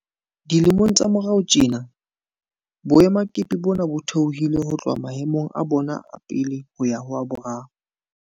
Dilemong tsa morao tjena, boemakepe bona bo theohile ho tloha maemong a bona a pele ho ya ho a boraro.